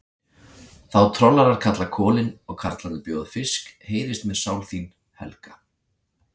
Þá trollarar kalla kolin, og karlarnir bjóða fisk, heyrist mér sál þín, Helga!